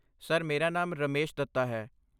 Sir, ਮੇਰਾ ਨਾਮ ਰਮੇਸ਼ ਦੱਤਾ ਹੈ।